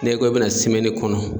N'i ko i bɛ na kɔnɔ